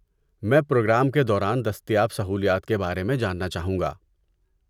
میں پروگرام کے دوران دستیاب سہولیات کے بارے میں جاننا چا ہوں گا۔